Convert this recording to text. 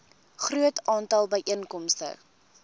groot aantal byeenkomste